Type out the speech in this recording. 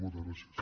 moltes gràcies